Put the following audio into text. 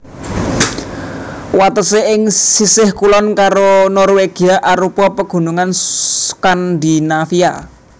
Watesé ing sisih kulon karo Norwegia arupa Pegunungan Skandinavia